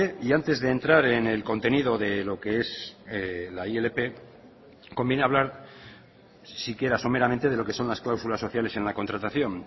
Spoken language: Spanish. y antes de entrar en el contenido de lo que es la ilp conviene hablar siquiera someramente de lo que son las cláusulas sociales en la contratación